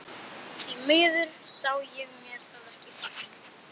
Því miður sá ég mér það ekki fært.